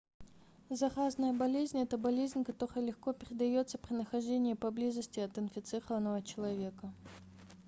заразная болезнь это болезнь которая легко передается при нахождении поблизости от инфицированного человека